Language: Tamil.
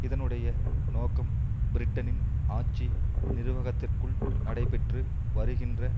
இதனுடைய நோக்கம் பிரிட்டனின் ஆட்சி நிர்வாகத்திற்குள் நடைபெற்று வருகின்ற